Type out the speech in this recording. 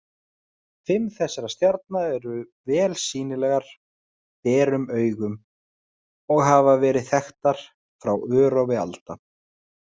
Fimm þessara stjarna eru vel sýnilegar berum augum og hafa verið þekktar frá örófi alda.